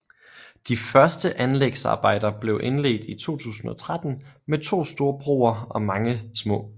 De første anlægsarbejder blev indledt i 2013 med to store broer og mange små